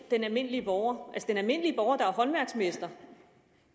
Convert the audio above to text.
den almindelige borger at den almindelige borger der er håndværksmester